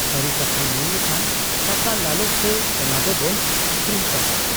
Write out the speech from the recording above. ᱥᱟᱹᱨᱤ ᱠᱟᱛᱷᱟ ᱢᱮᱱ ᱞᱮᱠᱷᱟᱱ ᱴᱟᱠᱟ ᱞᱟᱞᱚᱪ ᱛᱮ ᱚᱱᱟ ᱫᱚᱵᱚᱱ ᱟᱹᱠᱷᱨᱤᱧ ᱠᱟᱫ ᱟ ᱾